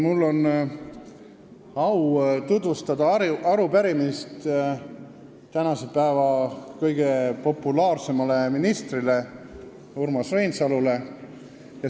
Mul on au tutvustada arupärimist tänase päeva kõige populaarsemale ministrile Urmas Reinsalule.